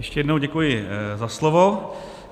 Ještě jednou děkuji za slovo.